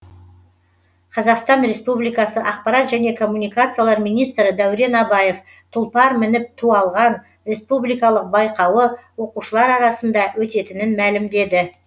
қазақстан республикасы ақпарат және коммуникациялар министрі дәурен абаев тұлпар мініп ту алған республикалық байқауы оқушылар арасында өтетінін мәлімдеді